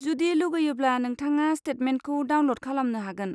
जुदि लुगैयोब्ला, नोंथाङा स्टेटमेन्टखौ डाउनल'ड खालामनो हागोन।